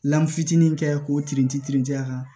Lfini kɛ k'o kirinti kirinti a kan